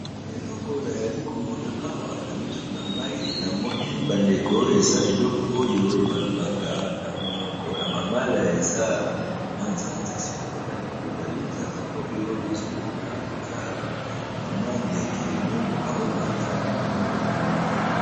Eleko nayali komona awa na misu na ngai namoni ba ndeko eza eleko oyo ba lobaka na monoko ya mangala eza manzanza, sikoyo na likolo ya linzanza oyo nazomona koza ka mwa ndeke moko kaomata likolo ya manzanza.